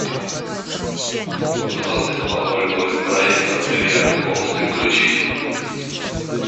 в двадцать два ноль ноль проектор в бильярдной комнате включить